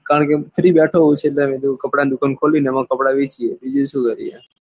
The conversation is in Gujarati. કારણ કે બેઠો હોય છે તો એમાં કપડા ની દુકાન ખોલી ને એમાં બેસીએ બીજું શું કરીએ?